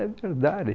É verdade.